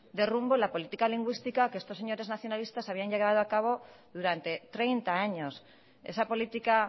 de rumbo la política lingüística que estos señores nacionalistas habían llevado a cabo durante treinta años esa política